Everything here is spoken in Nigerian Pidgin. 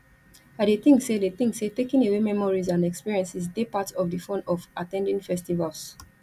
i dey think say dey think say taking away memories and experiences dey part of di fun of at ten ding festivals